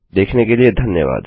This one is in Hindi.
देखने के लिए धन्यवाद